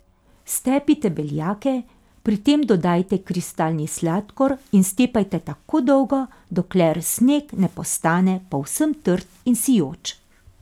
Stepite beljake, pri tem dodajajte kristalni sladkor in stepajte tako dolgo, dokler sneg ne postane povsem trd in sijoč.